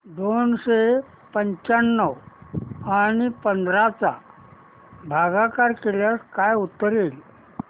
दोनशे पंच्याण्णव आणि पंधरा चा भागाकार केल्यास काय उत्तर येईल